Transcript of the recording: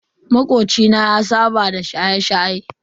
Makoci na ya saba da shaye-shaye.